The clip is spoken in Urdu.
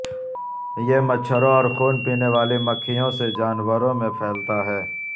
یہ مچھروں اور خون پینے والی مکھیوں سے جانوروں میں پھیلتا ہے